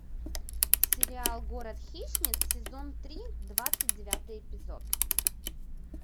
сериал город хищниц сезон три двадцать девятый эпизод